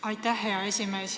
Aitäh, hea esimees!